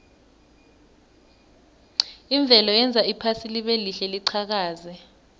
imvelo yenza iphasi libelihle liqhakaze